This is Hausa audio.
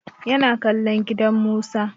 Ya na kallon gidan Musa.